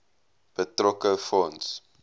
betrokke fonds